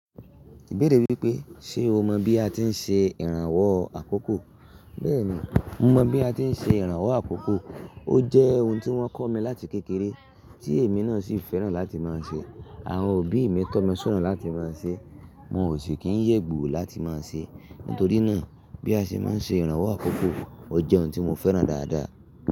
Ìbéèrè wípé, ṣe o mọ bí a ti ń ṣe ìrànwọ́ àkókò? Bẹ́ẹ̀ni, mo mọ bí a ti ń ṣe ìrànwọ́ àkókò. Ó jẹ́ ohun tí wọ́n kọ́ mi láti kékeré, tí èmi náà sì fẹ́ràn láti máa ń ṣe. Àwọn òbí mi tọ́ mi sona láti máa ń ṣe, wọn ò sì kí ń yè gbùú láti máa ṣe. Nítorí náà, bí a ṣe máa ń ṣe ìrànwọ́ àkókò, ó jẹ́ ohun tí mo fẹ́ràn dáadáa.